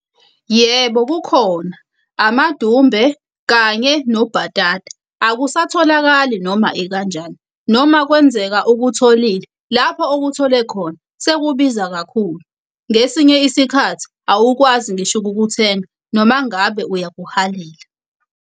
Yebo, kukhona. Amadumbe kanye nobhatata, akusatholakali noma ikanjani. Noma kwenzeka ukutholile, lapho okuthole khona sekubiza kakhulu. Ngesinye isikhathi awukwazi ngisho ukukuthenga, noma ngabe uyakuhalela.